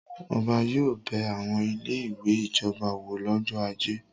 Ọba yóò bẹ àwọn ilé-ìwé ìjọba wò lọ́jọ́ ajé.